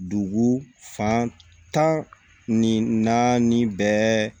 Dugu fan tan ni naani bɛɛ